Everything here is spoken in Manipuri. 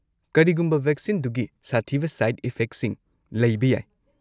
ꯀꯔꯤꯒꯨꯝꯕ ꯀꯥꯟꯗ ꯚꯦꯛꯁꯤꯟꯗꯨꯒꯤ ꯁꯥꯊꯤꯕ ꯁꯥꯏꯗ ꯏꯐꯦꯛꯁꯤꯡ ꯂꯩꯕ ꯌꯥꯏ꯫